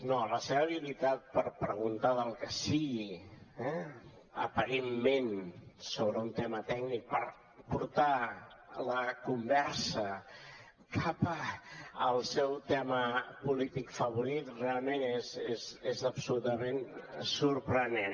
no la seva habilitat per preguntar del que sigui aparentment sobre un tema tècnic per portar la conversa cap al seu tema polític favorit realment és absolutament sorprenent